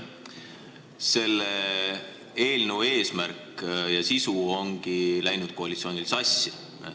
Selle eelnõu eesmärk ja sisu ongi koalitsioonil sassi läinud.